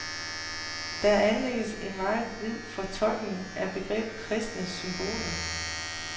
Der anlægges en meget vid fortolkning af begrebet kristne symboler.